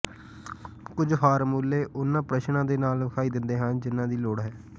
ਕੁਝ ਫਾਰਮੂਲੇ ਉਨ੍ਹਾਂ ਪ੍ਰਸ਼ਨਾਂ ਦੇ ਨਾਲ ਵਿਖਾਈ ਦਿੰਦੇ ਹਨ ਜਿਨ੍ਹਾਂ ਦੀ ਲੋੜ ਹੈ